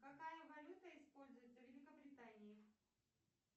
какая валюта используется в великобритании